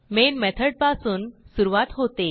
main method पासून सुरूवात होते